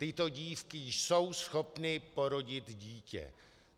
Tyto dívky jsou schopny porodit dítě.